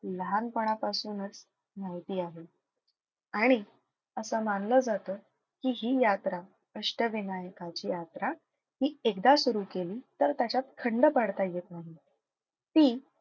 लहानपणापासूनच माहिती आहे. आणि असं मानलं जातं की हि यात्रा अष्टविनायकाची यात्रा हि एकदा सुरु केली तर त्याच्यात खंड पाडता येत नाही. ती,